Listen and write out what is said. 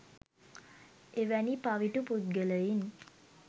එවැනි පවිටු පුද්ගලයින්